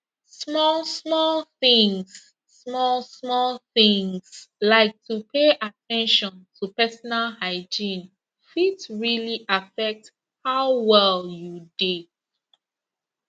small small things small small things like to pay at ten tion to personal hygiene fit really affect how well you dey